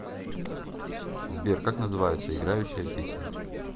сбер как называется играющая песня